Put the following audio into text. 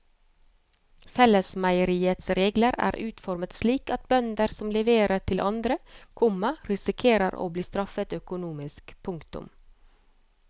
Fellesmeieriets regler er utformet slik at bønder som leverer til andre, komma risikerer å bli straffet økonomisk. punktum